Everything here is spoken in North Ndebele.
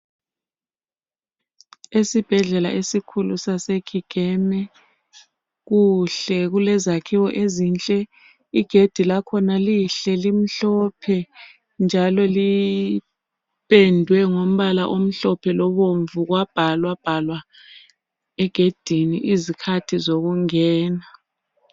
Isibhedlela esikhulu sase Kigeme. Kuhle kulezakhiwo ezinhle. Igedi lakhona lihle limhlophe njalo lipendwe ngombala omhlophe lobomvu kwabhalwa bhalwa egedini izikhathi zokungena.